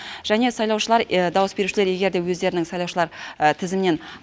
және сайлаушылар дауыс берушілер егер де өздерінің сайлаушылар тізімнен